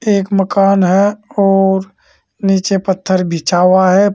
एक मकान है और नीचे पत्थर बिछा हुआ है।